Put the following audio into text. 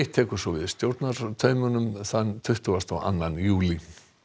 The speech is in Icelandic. tekur svo við stjórnartaumunum þann tuttugasta og annan júlí